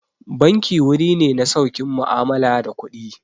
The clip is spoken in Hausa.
Banki wuri ne na saukin mu'amala da kuɗi.